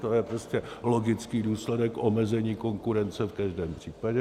To je prostě logický důsledek omezení konkurence v každém případě.